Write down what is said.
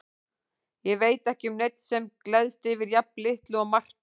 Ég veit ekki um neinn sem gleðst yfir jafn litlu og Marta.